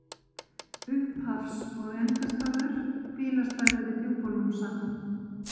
Upphafs- og endastaður: Bílastæði við Djúpalónssand.